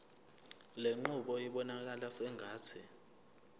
lenqubo ibonakala sengathi